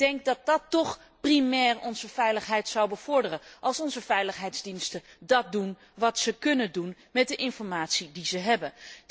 Ik denk dat het toch primair onze veiligheid zou bevorderen, als onze veiligheidsdiensten doen wat ze kunnen met de informatie die ze hebben.